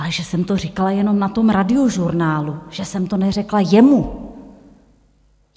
Ale že jsem to říkala jenom na tom Radiožurnálu, že jsem to neřekla jemu!